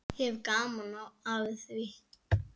Ég hef gaman af því.